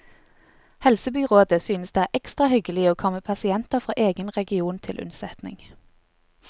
Helsebyråden synes det er ekstra hyggelig å komme pasienter fra egen region til unnsetning.